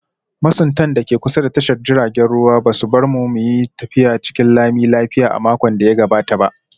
Masuntan da ke kusa da tashar jiragen ruwa ba su bar mu mu yi tafiya cikin lami lafiya a makon da ya gabata ba